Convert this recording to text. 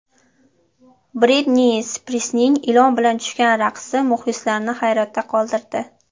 Britni Spirsning ilon bilan tushgan raqsi muxlislarni hayratda qoldirdi .